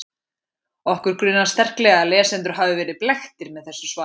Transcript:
Okkur grunar sterklega að lesendur hafi verið blekktir með þessu svari.